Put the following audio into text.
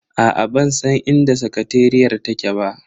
Aa bansan inda sakateriyar take ba.